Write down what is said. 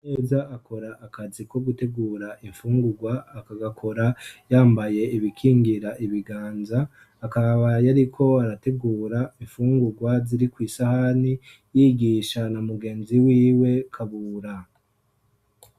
Ineza akora akazi ko gutegura infungurwa akagakora yambaye ibikingira ibiganza akaba yari ko arategura infungurwa ziri kwisahani yigisha na mugenzi wiwe kabura